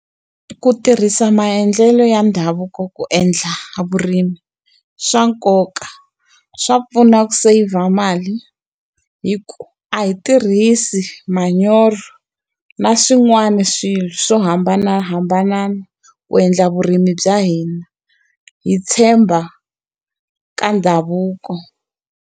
Ku tirhisa maendlelo ya ndhavuko ku endla vurimi i swa nkoka. Swa pfuna ku seyivha mali hikuva a hi tirhisi manyoro na swin'wana swilo swo hambanahambana ku endla vurimi bya hina. Hi tshemba ka ndhavuko.